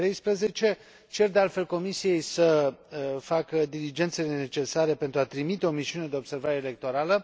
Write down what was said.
2013. Cer, de altfel, Comisiei să facă diligențele necesare pentru a trimite o misiune de observare electorală.